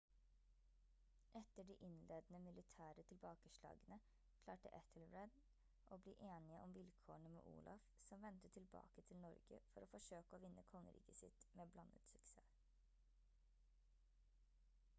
etter de innledende militære tilbakeslagene klarte ethelred å bli enige om vilkårene med olaf som vendte tilbake til norge for å forsøke å vinne kongeriket sitt med blandet suksess